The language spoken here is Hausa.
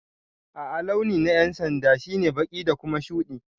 A'a launi na yan'sanda shine baki da Kuma shude.